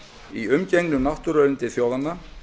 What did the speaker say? í umgengni um náttúruauðlindir þjóðarinnar